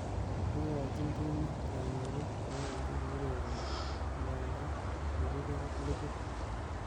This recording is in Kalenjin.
ikochin timit kamuget ye wendi kourereni nganda kikiker ligit.